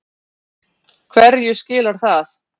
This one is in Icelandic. Hverju skilar það?